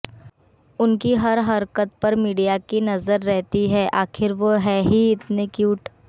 उनकी हर हरकत पर मीडिया की नजर रहती है आखिर वो हैं ही इतने क्यूट